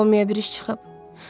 Olmayabil bir iş çıxıb.